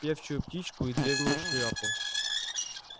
певчую птичку и древнюю шляпу